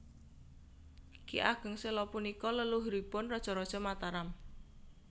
Ki Ageng Séla punika leluhuripun raja raja Mataram